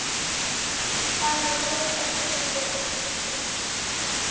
Þar leið okkur vel.